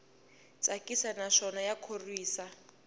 tsakisa naswona ya khorwisa